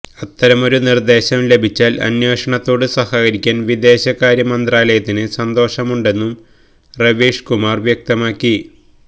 അത്തരമൊരു നിർദ്ദേശം ലഭിച്ചാൽ അന്വേഷണത്തോട് സഹകരിക്കാൻ വിദേശകാര്യ മന്ത്രാലയത്തിന് സന്തോഷമുണ്ടെന്നും റവീഷ് കുമാർ വ്യക്തമാക്കി